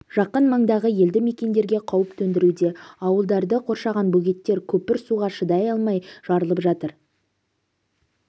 жақын маңдағы елді мекендерге қауіп төндіруде ауылдарды қоршаған бөгеттер нөпір суға шыдай алмай жарылып жатыр